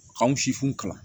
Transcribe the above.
K'anw si funu kalan